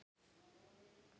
Tognun eða krampi hjá Kára?